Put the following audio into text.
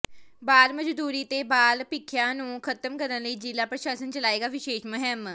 ਬਾਲ ਮਜ਼ਦੂਰੀ ਤੇ ਬਾਲ ਭਿੱਖਿਆ ਨੂੰ ਖ਼ਤਮ ਕਰਨ ਲਈ ਜ਼ਿਲ੍ਹਾ ਪ੍ਰਸ਼ਾਸਨ ਚਲਾਏਗਾ ਵਿਸ਼ੇਸ਼ ਮੁਹਿੰਮ